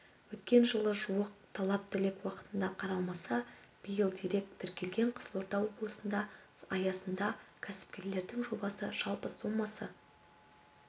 өткен жылы жуық талап-тілек уақытында қаралмаса биыл дерек тіркелген қызылорда облысында аясында кәсіпкерлердің жобасы жалпы сомасы